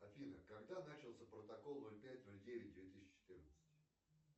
афина когда начался протокол ноль пять ноль девять две тысячи четырнадцать